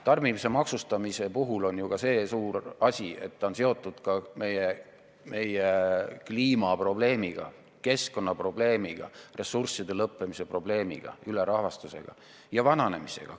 Tarbimise maksustamisel on ju ka see tähtis argument, et see on seotud meie kliimaprobleemiga, keskkonnaprobleemiga, ressursside lõppemise probleemiga, maailma ülerahvastuse ja elanikkonna vananemisega.